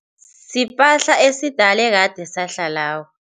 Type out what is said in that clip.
Sipahla esidala, ekade sahlako.